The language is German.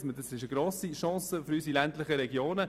Es ist eine grosse Chance für unsere ländlichen Regionen.